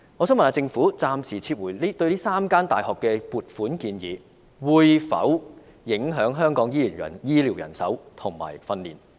請問政府暫時撤回這3間大學的撥款建議，會否影響香港的醫療人手及培訓工作？